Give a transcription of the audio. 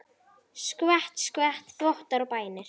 Skvett, skvett, þvottar og bænir.